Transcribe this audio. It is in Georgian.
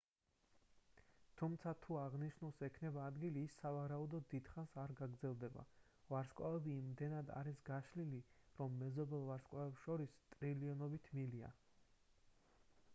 თუმცა თუ აღნიშნულს ექნება ადგილი ის სავარაუდოდ დიდხანს არ გაგრძელდება ვარსკვლავები იმდენად არის გაშლილი რომ მეზობელ ვარსკვლავებს შორის ტრილიონობით მილია